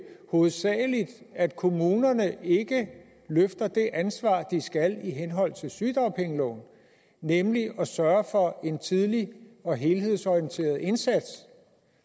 hovedsagelig at kommunerne ikke løfter det ansvar de skal i henhold til sygedagpengeloven nemlig at sørge for en tidlig og helhedsorienteret indsats